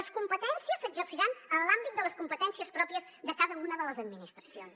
les competències s’exerciran en l’àmbit de les competències pròpies de cada una de les administracions